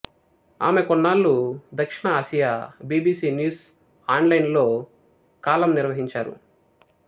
ఆమె కొన్నాళ్ళు దక్షిణ Asia BBC news online లో కాలమ్ నిర్వహించారు